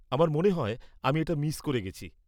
আমার মনে হয় আমি এটা মিস করে গেছি।